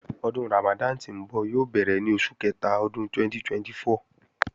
Ọdún Ramadan tí ńbọ̀ yóò bẹ̀rẹ̀ ní oṣù kẹta ọdún 2024